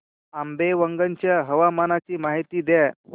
आंबेवंगन च्या हवामानाची माहिती द्या